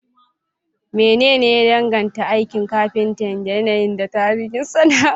Menene ya danganta aikin kafinta da yanayi da tarihin sana'a?